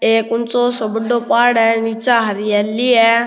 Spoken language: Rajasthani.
एक ऊचो सो बड़ो पहाड़ है नीचे हरियाली है।